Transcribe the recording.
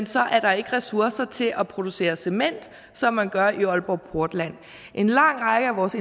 så er der ikke ressourcer til at producere cement som man gør i aalborg portland en lang række af vores